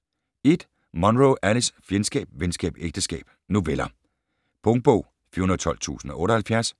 1. Munro, Alice: Fjendskab, venskab, ægteskab: noveller Punktbog 412078